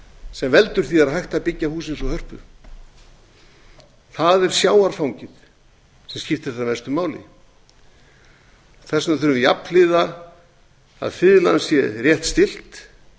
sem veldur því að hægt er að byggja hús eins og hörpu það er sjávarfangið sem skiptir þar mestu máli þess vegna þurfum við jafnhliða að fiðlan sé rétt stillt